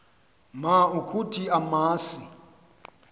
ma ukuthi masi